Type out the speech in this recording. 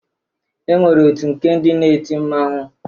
E nwere otu nke ndị na-eti mmanwụ